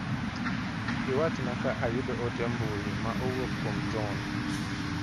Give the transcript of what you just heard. Iwachna ka ayudo ote mbu ma owuok kuom John.